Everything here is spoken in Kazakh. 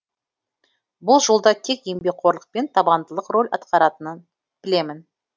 бұл жолда тек еңбекқорлық пен табандылық рөл атқаратынын білемін